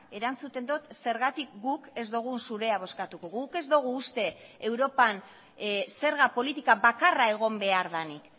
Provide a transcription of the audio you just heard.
erantzuten dut zergatik guk ez dugun zurea bozkatuko guk ez dugu uste europan zerga politika bakarra egon behar denik